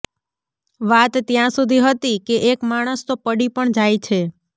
વાત ત્યાં સુધી હતી કે એક માણસ તો પડી પણ જાય છે